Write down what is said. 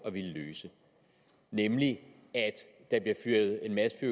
at ville løse nemlig at der bliver fyret en masse